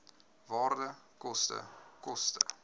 waarde koste koste